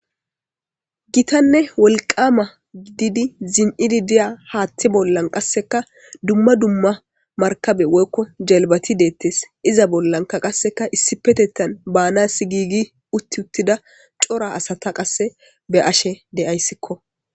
gitanne wolqama gididi zim7idi diya haatti bollan qasseka dumma dumma markabe woykko jelbati deettes iza bollanka qasseka issi petettan baanas giigi utti uttida cora asata qasse be ashe de7ayssikko